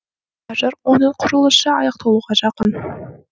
қазір оның құрылысы аяқталуға жақын